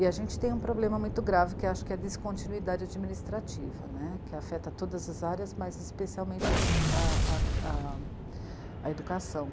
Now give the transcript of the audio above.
E a gente tem um problema muito grave que acho que é a descontinuidade administrativa, né, que afeta todas as áreas, mas especialmente a educação.